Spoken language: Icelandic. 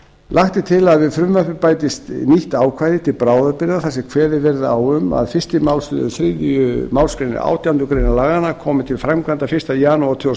lagt er til að við frumvarpið bætist nýtt ákvæði til bráðabirgða þar sem kveðið verði á um að fyrstu málsl þriðju málsgrein átjándu grein laganna komi til framkvæmda fyrsta janúar tvö þúsund